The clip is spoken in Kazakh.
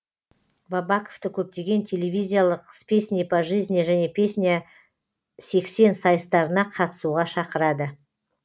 бабаковты көптеген телевизиялық с песней по жизни және песня сексен сайыстарына қатысуға шақырады